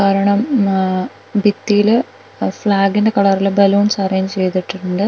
കാരണം മ് ആഹ് ഭിത്തീല് അഹ് ഫ്ലാഗിന്റെ കളറില് ബലൂൺസ് അറേഞ്ച് ചെയ്തിട്ടുണ്ട് കുട്ടികൾ--